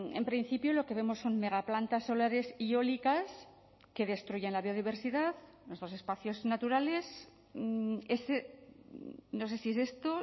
en principio lo que vemos son mega plantas solares y eólicas que destruyen la biodiversidad nuestros espacios naturales no sé si es esto